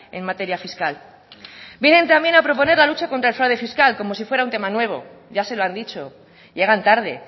en materia fiscal vienen también a proponer la lucha contra el fraude fiscal como si fuera un tema nuevo ya se lo han dicho llegan tarde